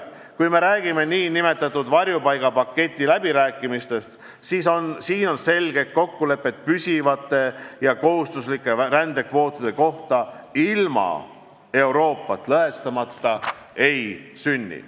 Kui me räägime nn varjupaigapaketi läbirääkimistest, siis on selge, et kokkulepet püsivate ja kohustuslike rändekvootide kohta ilma Euroopat lõhestamata ei sünni.